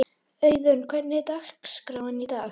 Auðun, hvernig er dagskráin í dag?